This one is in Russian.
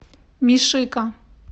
мишико